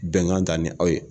Bɛnkan ta ni aw ye